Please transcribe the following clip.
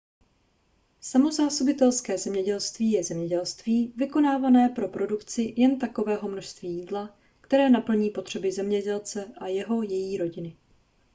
samozásobitelské zemědělství je zemědělství vykonávané pro produkci jen takového množství jídla které naplní potřeby zemědělce a jeho/její rodiny